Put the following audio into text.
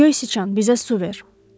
Göy siçan bizə su ver.